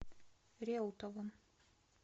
реутовым